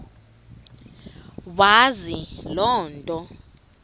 wazi loo nto